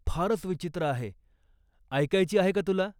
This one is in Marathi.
फारच विचित्र आहे, ऐकायची आहे का तुला?